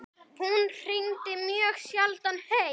Hún hringdi mjög sjaldan heim.